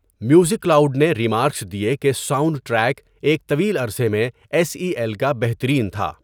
Music aloud نے remarks دیے کہ ساؤنڈ ٹریک 'ایک طویل عرصے میں ایس ای ایل کا بہترین' تھا۔